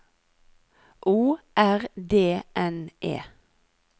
O R D N E